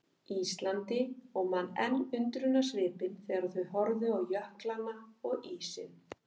Íslandi og man enn undrunarsvipinn þegar þau horfðu á jöklana og ísinn.